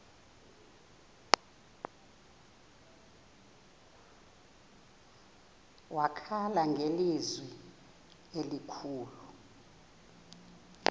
wakhala ngelizwi elikhulu